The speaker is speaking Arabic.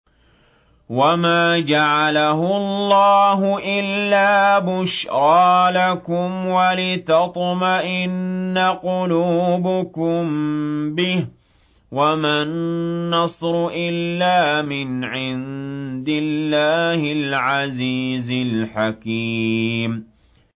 وَمَا جَعَلَهُ اللَّهُ إِلَّا بُشْرَىٰ لَكُمْ وَلِتَطْمَئِنَّ قُلُوبُكُم بِهِ ۗ وَمَا النَّصْرُ إِلَّا مِنْ عِندِ اللَّهِ الْعَزِيزِ الْحَكِيمِ